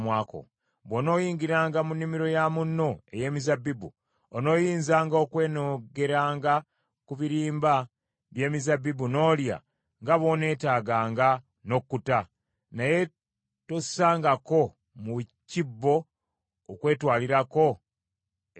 “Bw’onooyingiranga mu nnimiro ya munno ey’emizabbibu, onooyinzanga okwenogeranga ku birimba by’emizabbibu n’olya nga bw’oneetaaganga n’okkuta, naye tossangako mu kibbo okwetwalirako eka.